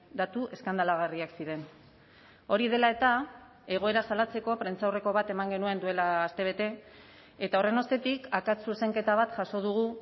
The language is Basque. datu eskandalagarriak ziren hori dela eta egoera salatzeko prentsaurreko bat eman genuen duela aste bete eta horren ostetik akats zuzenketa bat jaso dugu